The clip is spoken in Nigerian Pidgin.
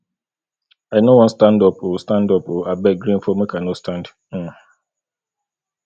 i no wan stand up oo stand up oo abeg rain fall make i no stand um